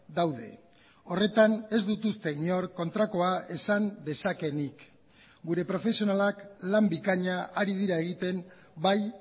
daude horretan ez dut uste inor kontrakoa esan dezakeenik gure profesionalak lan bikaina ari dira egiten bai